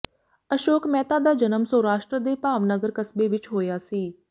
ਅਸ਼ੋਕ ਮਹਿਤਾ ਦਾ ਜਨਮ ਸੌਰਾਸ਼ਟਰ ਦੇ ਭਾਵਨਗਰ ਕਸਬੇ ਵਿੱਚ ਹੋਇਆ ਸੀ